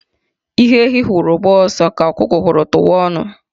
Ihe ehi hụrụ gbaa ọsọ, ka ọkụkọ hụrụ tụwa ọnụ